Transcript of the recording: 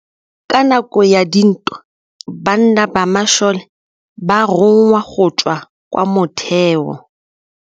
Ka nakô ya dintwa banna ba masole ba rongwa go tswa kwa mothêô.